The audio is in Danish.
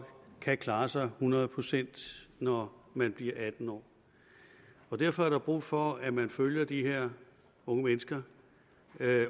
kan klare sig hundrede procent når man bliver atten år derfor er der brug for at man følger de her unge mennesker